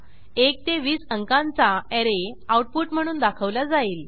1 ते 20 अंकांचा array output म्हणून दाखवला जाईल